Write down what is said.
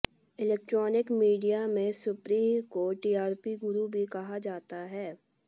electronic media में सुप्रिय को TRP गुरु भी कहा जाता है